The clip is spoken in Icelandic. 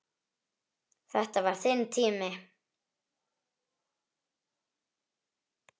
Þetta var þinn tími.